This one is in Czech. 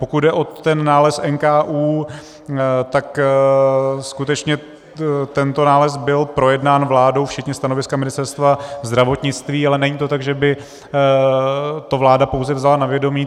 Pokud jde o ten nález NKÚ, tak skutečně tento nález byl projednán vládou včetně stanoviska Ministerstva zdravotnictví, ale není to tak, že by to vláda pouze vzala na vědomí.